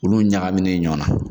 Olu ɲagamine ɲɔn na